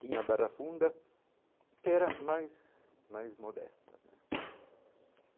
tinha a Barra Funda que era mais mais modesta né.